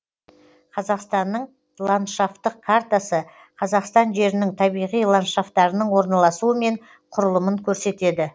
қазақстанның ландшафтық картасы қазақстан жерінің табиғи ландшафтарының орналасуы мен құрылымын көрсетеді